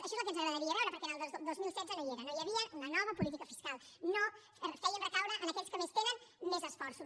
això és el que ens agradaria veure perquè en els del dos mil setze no hi era no hi havia una nova política fiscal no feien recaure en aquells que més tenen més esforços